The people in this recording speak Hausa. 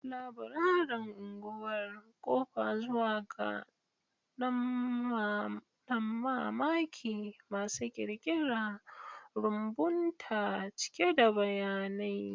Laburaren unguwar: ƙofa zuwa ga damammaki masu ƙirƙira, rumbunta cike da bayanai.